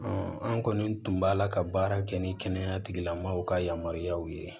an kɔni tun b'ala ka baara kɛ ni kɛnɛya tigilamɔgɔw ka yamaruyaw ye